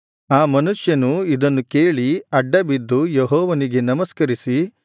ಆ ಮನುಷ್ಯನು ಇದನ್ನು ಕೇಳಿ ಅಡ್ಡಬಿದ್ದು ಯೆಹೋವನಿಗೆ ನಮಸ್ಕರಿಸಿ